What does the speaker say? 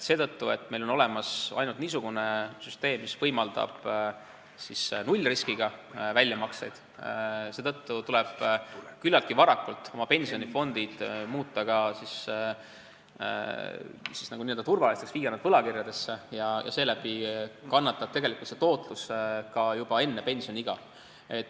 Seetõttu, et meil on olemas ainult niisugune süsteem, mis võimaldab nullriskiga väljamakseid, tuleb küllaltki varakult oma pensionifondid muuta n-ö turvaliseks, viia nad võlakirjadesse, ja seeläbi kannatab tegelikult tootlus juba enne pensioniiga.